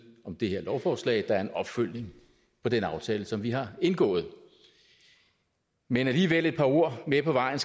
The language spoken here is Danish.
om det her lovforslag der er en opfølgning på den aftale som vi har indgået men alligevel et par ord med på vejen